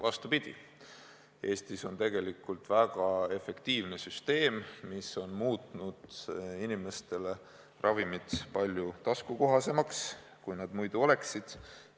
Vastupidi, Eestis on tegelikult väga efektiivne süsteem, mis on muutnud ravimid inimestele palju taskukohasemaks, kui nad muidu oleksid.